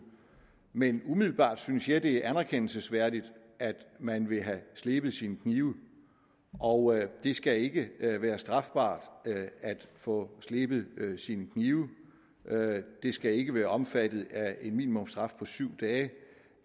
men umiddelbart synes jeg at det er anerkendelsesværdigt at man vil have slebet sine knive og det skal ikke være strafbart at få slebet sine knive det skal ikke være omfattet af en minimumsstraf på syv dage